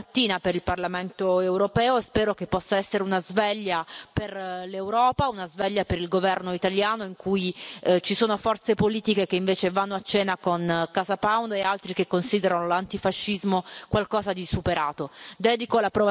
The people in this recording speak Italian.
È una bella mattina per il Parlamento europeo e spero che possa essere una sveglia per l'Europa, una sveglia per il governo italiano in cui ci sono forze politiche che invece vanno a cena con Casa Pound e altri che considerano l'antifascismo qualcosa di superato.